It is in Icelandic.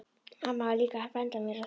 Mamma var líka að benda mér á það.